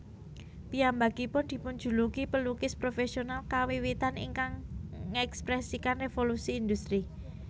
Piyambakipun dipunjuluki pelukis profesional kawiwitan ingkang ngèkspresikan Revolusi Industri